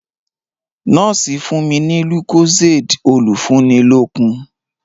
Nọ́ọ̀sì fún mi ní lucozade olùfúnilókun.